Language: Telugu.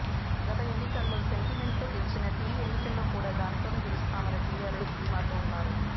గత ఎన్నికల్లో సెంటిమెంట్తో గెలిచినట్టే ఈ ఎన్నికల్లో కూడా దానితోనే గెలుస్తామని టీఆర్ఎస్ ధీమాతో ఉందన్నారు